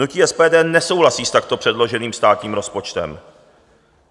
Hnutí SPD nesouhlasí s takto předloženým státním rozpočtem.